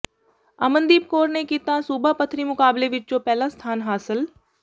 ਅਮਨਦੀਪ ਕੌਰ ਨੇ ਨੇ ਕੀਤਾ ਸੂਬਾ ਪੱਧਰੀ ਮੁਕਾਬਲੇ ਵਿੱਚੋਂ ਪਹਿਲਾ ਸਥਾਨ ਹਾਸਿਲ